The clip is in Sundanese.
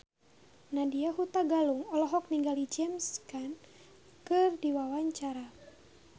Nadya Hutagalung olohok ningali James Caan keur diwawancara